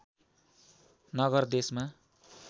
नगर देशमा